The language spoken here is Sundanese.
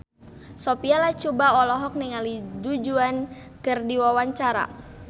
Sophia Latjuba olohok ningali Du Juan keur diwawancara